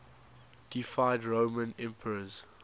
deified roman emperors